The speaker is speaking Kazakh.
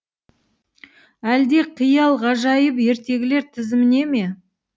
әлде қиял ғажайып ертегілер тізіміне ме